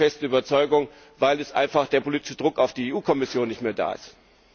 Das ist meine feste Überzeugung, weil jetzt einfach der politische Druck auf die EU Kommission nicht mehr da ist.